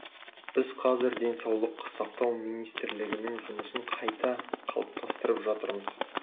біз қазір денсаулық сақтау министрлігінің жұмысын қайта қалыптастырып жатырмыз